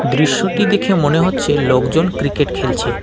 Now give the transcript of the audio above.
দৃশ্যটি দেখে মনে হচ্ছে লোকজন ক্রিকেট খেলছে।